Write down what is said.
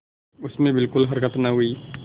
उसमें बिलकुल हरकत न हुई